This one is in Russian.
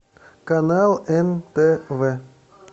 канал нтв